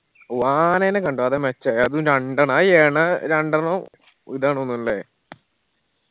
ഓ ആണെന കണ്ടു അതാ മേച്ചായ അതും രണ്ടെണ്ണം അയി എണ രണ്ടെണ്ണം ഇതാണ് തോന്നുന്നു ല്ലേ